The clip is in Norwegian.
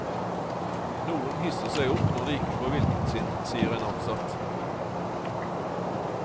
Noen hisser seg opp når de ikke får viljen sin, sier en ansatt.